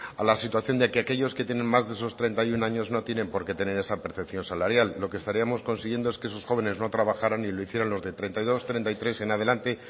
a la situación de que aquellos que tienen más de treinta y uno años no tienen por qué tener esa percepción salarial lo que estaríamos consiguiendo es que esos jóvenes no trabajaran y lo hicieran los de treinta y dos treinta y tres en adelante